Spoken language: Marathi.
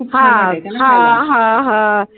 हा हा हा हा